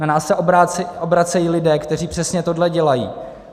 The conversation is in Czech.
Na nás se obracejí lidé, kteří přesně tohle dělají.